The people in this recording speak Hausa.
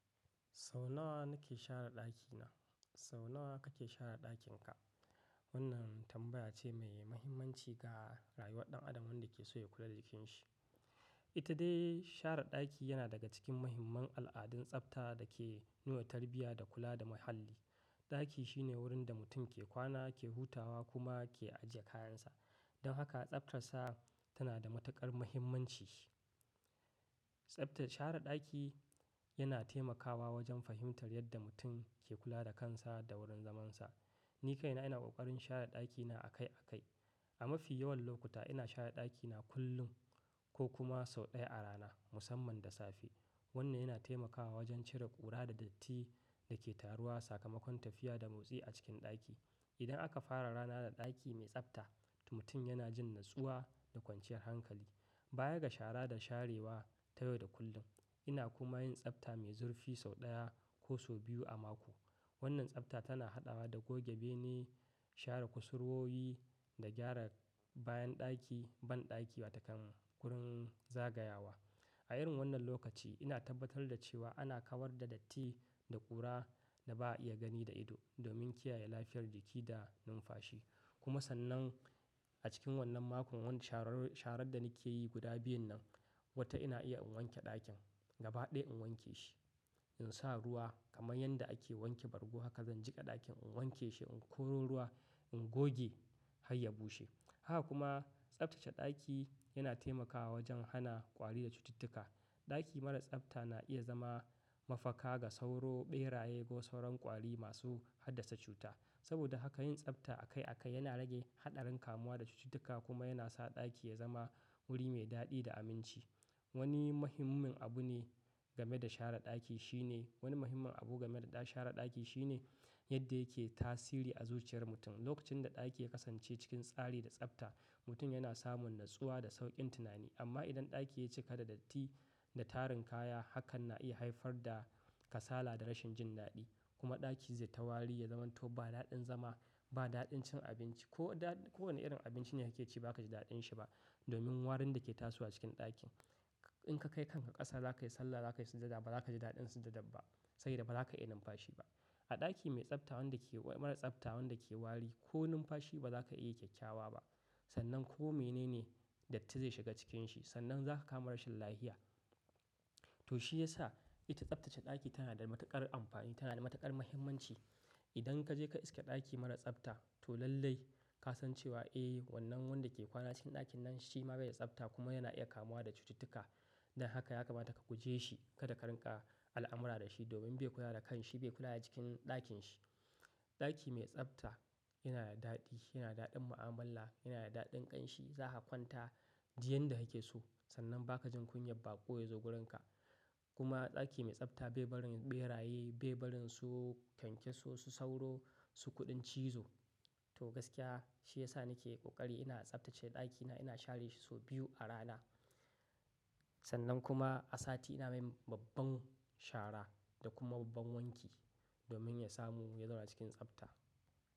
Sau nawa nake share ɗakina, sau nawa kake share ɗakin ka? Wannan tambaya ce mai muhimmanci ga rayuwar ɗan adam wanda ke so ya kula da jikin shi. Ita dai share ɗaki yana daga cikin muhimman al'adun tsafta da ke nuna tarbiyya da kula da muhalli. Ɗaki shine wurin da mutum ke kwana, ke hutawa kuma ke ajiye kayan sa. Don haka tsaftar sa tana da matuƙar muhimmanci. Tsaftace share ɗaki yana taimakawa wajen fahimtar yadda mutum ke kula da kansa da wurin zaman sa. Ni kaina ina ƙoƙarin share ɗakina akai akai. A mafi yawan lokuta ina share ɗakina kullum ko kuma sau ɗaya a rana musamman da safe. Wannan yana taimakawa wajen cire ƙura da datti da ke taruwa, sakamakon tafiya da motsi a cikin ɗaki. Idan aka fara rana da ɗaki mai tsafta, mutum yana jin natsuwa da kwanciyar hankali. Baya ga shara da sharewa ta yau da kullum, ina kuma yin tsafta mai zurfi sau ɗaya ko so biyu a mako. Wannan tsafta tana haɗawa da goge bene, share kusurwoyi da gyara bayan ɗaki, banɗaki wataƙan kurin zagayawa. A irin wannan lokaci ina tabbatar da cewa ana kawar da datti da ƙura da ba a iya gani da ido domin kiyaye lafiyar jiki da numfashi. Kuma sannan a cikin wannan makon wanda sharar-sharar da nake yi guda biyun nan, wata ina iya in wanke ɗakin. Gaba ɗaya in wanke shi, in sa ruwa kamar yadda ake wanke bargo haka zan jiƙa ɗakin in wanke shi, in koro ruwa, in goge har ya bushe. Haka kuma tsaftace ɗaki yana taimakawa wajen hana ƙwari da cututtuka. Ɗaki mara tsafta na iya zama mafaka ga sauro, ɓeraye ko sauran ƙwari masu haddasa cuta. Saboda haka yin tsafta akai akai yana rage haɗarin kamuwa da cututtuka kuma yana sa ɗaki ya zama wuri mai daɗi da aminci. Wani muhimmin abu ne game da share ɗaki shine-wani muhimmin abu game da share ɗaki shine yadda yake tasiri a zuciyar mutum. Lokacin da ɗaki ya kasance cikin tsari da tsafta, mutum yana samun natsuwa da sauƙin tunani. Amma idan ɗaki ya cika da datti da tarin kaya, hakan na iya haifar da kasala da rashin jin daɗi. Kuma ɗaki zai ta wari ya zamanto ba daɗin zama, ba daɗin cin abinci. Ko da-kowane irin abinci ne kake ci baka ji daɗin shi ba domin warin da ke tasowa cikin ɗakin. In ka kai kanka ƙasa zaka yi sallah, zaka yi sujada ba za ka ji daɗin sujada ba sai da ba za ka iya numfashi ba. A ɗaki mai tsafta wanda ke-mara tsafta wanda ke wari ko numfashi ba za ka iya kyakkyawa ba. Sannan ko mene ne datti zai shiga cikin shi, sannan za ka kama rashin lafiya. To shi ya sa ita tsaftace ɗaki tana da matuƙar amfani, tana da matuƙar muhimmanci. Idan ka je ka iske ɗaki mara tsafta to lallai ka san cewa, "Eh wannan wanda ke kwana cikin ɗakin nan shi ma bai da tsafta kuma yana iya kamuwa da cututtuka." Don haka ya kamata ka guje shi, kada ka rinƙa al'amura da shi domin bai kula da kan shi, bai kula da cikin ɗakin shi. Ɗaki mai tsafta yana da daɗi, yana daɗin mu'amala, yana da daɗin ƙanshi. Za ka kwanta duk yadda kake so, sannan ba ka jin kunyar baƙo ya zo wurin ka. Kuma ɗaki mai tsafta bai barin ɓeraye, bai barin su kyankyaso, su sauro, su kuɗin cizo. To gaskiya shi ya sa nake ƙoƙari ina tsaftace ɗakina, ina share shi so biyu a rana. Sannan kuma a sati ina mai babban shara da kuma babban wanki domin ya samu ya zama cikin tsafta.